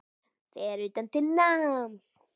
Fer utan til náms